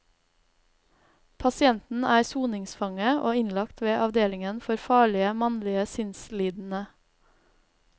Pasienten er soningsfange og innlagt ved avdelingen for farlige, mannlige sinnslidende.